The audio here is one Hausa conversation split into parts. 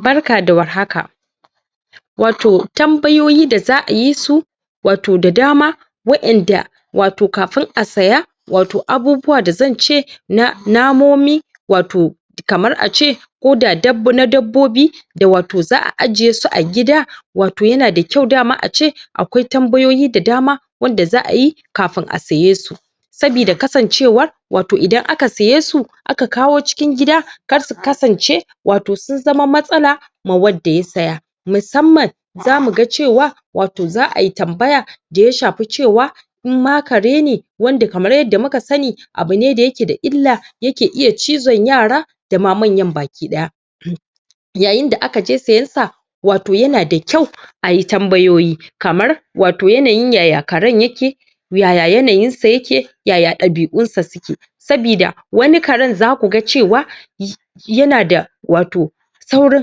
barka da war haka wato tambayoyi da zaʼayi su wato da dama waƴan da wato kafin a siya wato abubuwa da zance na namomi wato kamar ace Koda na dabbobi da wato zaʼa ajiye su a gida wato yana da kyau dama ace akwai tambayoyi da dama wanda zaʼa yi kafin azumi a siyesu sabida kasancewar wato Idan aka siye su aka kawo cikin gida karsu kasance wato sun zama matsala ma wanda ya saya musamman zamuga cewa wato za ai tambaya daya shafi cewa in ma kare ne wanda kamar yaddda muka sani abu ne da yake da illa yake iya cizon yara dama manya baki ɗaya, yayin da aka je siyan sa wato yana da kyau ayi tambayoyi kamar wato yanayin yaya karen yake, yaya yanayin sa yake, yaya ɗabiʼun sa suke, sabida wani karen zakuga cewa yanada wato saurin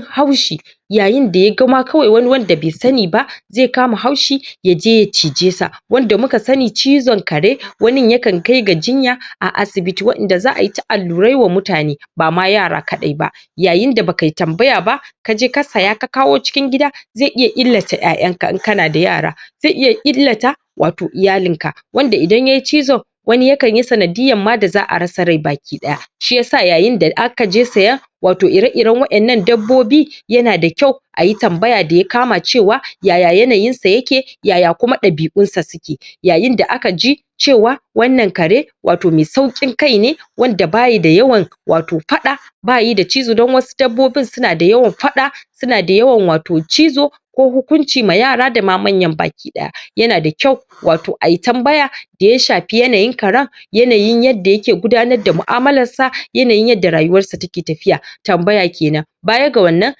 haushi yayin da yaga ma kawai wani wanda bai sani ba ze kama haushi yaje ya cije sa wanda muka sani cizon kare wani yakan kai ga jinya a asibiti waƴanda zaʼai ta allurai wa mutane bama yara kaɗai ba, yayin da bakai tambaya ba kaje ka saya ka kawo cikin gida ze iya illata ƴaƴanka in kana da yara ze iya illata wato iyalinka wanda idan yayi cizo wani yakan yi sanadiyan ma da zaʼa rasa rai baki ɗaya, shiyasa yayin da akaje saya wato ire-iren wayannan dabbobi yana da kyau ayi tambaya daya kama cewa yaya yanayin sayake, yayakuma ɗabiʼun sa suke, yayin da akaji cewa wannan kare wato me saukin kaine wanda bayi da yawan wato faɗa bayi da cizo don was dabbobin suna da yawan faɗa suna da yawan wato cizo ko hukunci ma yara da ma manyan baki ɗaya yana da kyau wato ai tambaya daya shafi yanayin karen yanayin yaddda yake gudanar da muʼamalarsa yanayin yadda rayuwar sa take tafiya tambaya kenan baya ga wannan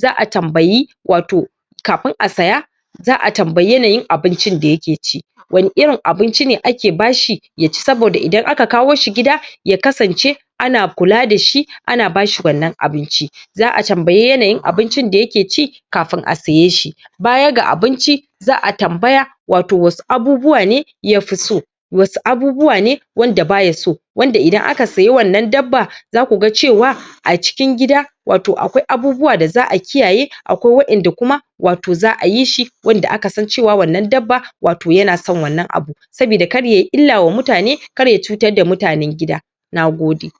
zaʼa tambayi wato kafin a siya zaʼa tambayi yanayin abincin da yake ci. Wane irin abinci ne ake bashi yaci saboda idan aka kawo shi gida ya kasance ana kula da shi ana bashi wannan abinci zaʼa tambayi yanayin abincin da yake ci kafin a saye shi. Baya ga abincin zaʼa tambaya wato wasu abubuwa ne yafi so wanda idan aka saya wannan dabba zakuga cewa a cikin gida wato akwai abubuwa da zaʼa kiyaye akwai waƴanda kuma wato zaʼa yi shi wanda aka san cewa wannan dabba wato yana son wannan abu sabida kar yai illa wa mutane karya cutar da mutanen gida. NAGODE.